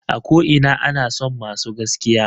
A ko ina ana son masu gaskiya.